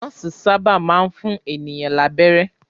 Nọ́ọ́sì sábà máa ń fún ènìyàn lábẹ́rẹ́.